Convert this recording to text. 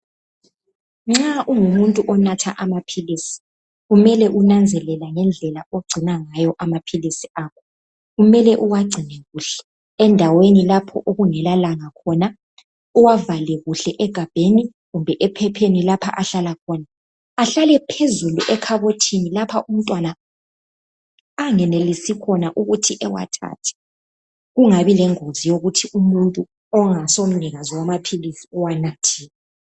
Nxa ungumuntu onatha amaphilisi kumele unanzelele ngendlela ogcina ngayo amaphilisi akho. Kumele uwagcine kuhle endaweni lapho okungela langa khona uwavale kuhle egabheni kumbe ephepheni lapha ahlala khona. Ahlale phezulu ekhabothini lapha umntwana anganelisi khona ukuthi awathathe. Kungabi lengozi yikuthi umuntu ongaso mnikazi wamaphilisi uwanathile.